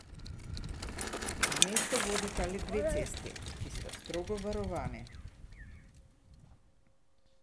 V mesto vodita le dve cesti, ki sta strogo varovani.